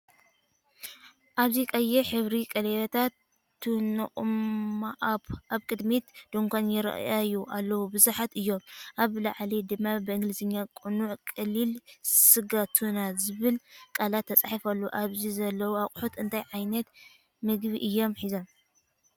ኣብዚ ቀይሕ ሕብሪ ቀለቤታት ቱናኦማኣፕ ኣብ ቅድሚት ድኳን ይራኣዩ ኣለዉ። ብዙሓት እዮም ኣብ ላዕሊ ድማ ብእንግሊዝኛ “ጽኑዕ ቀሊል ስጋ ቱና” ዝብል ቃላት ተጻሒፉ ኣሎ። ኣብዚ ዘለዉ ኣቑሑት እንታይ ዓይነት ምግቢ እዮም ሒዞም?